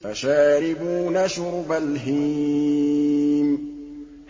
فَشَارِبُونَ شُرْبَ الْهِيمِ